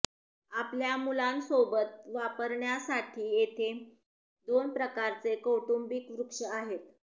आपल्या मुलांसोबत वापरण्यासाठी येथे दोन प्रकारचे कौटुंबिक वृक्ष आहेत